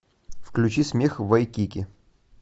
включи смех вайкики